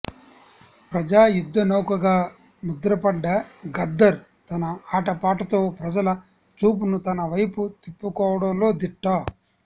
ప్రజా యుద్ధనౌకగా ముద్రపడ్డ గద్దర్ తన ఆటపాటతో ప్రజల చూపును తనవైపు తిప్పుకోవడంలో దిట్ట